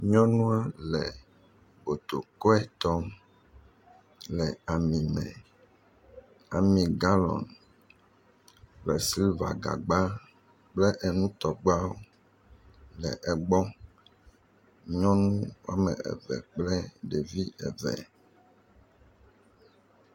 Nyɔnua le botokoe tom le ami me. Ami galɔn kple siliva gagba kple enutɔgbawo le egbɔ. Nyɔnu woa me eve kple ɖevi eve.